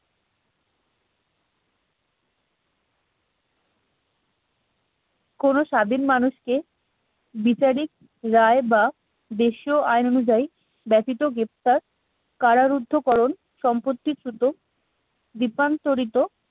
কোন স্বাধীন মানুষকে বিচারিক রায় বা দেশীয় আইন অনুযায়ী ব্যতীত গ্রেপ্তার কারারুদ্ধকরণ সম্পত্তিচ্যুত বিভ্রান্তরিত